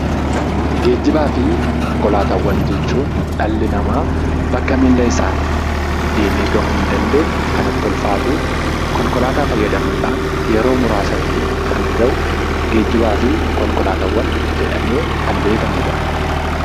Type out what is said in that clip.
Geejjibaa fi konkolaataawwan jechuun dhalli namaa bakka miilla isaan deemee gahuu hin dandeenye, kan itti ulfaatu, konkolaataa fayyadamuu dhaan yeroo muraasatti kan gahu 'Geejjibaa fi konkolaataawwan' jedhamee kan beekamu dha.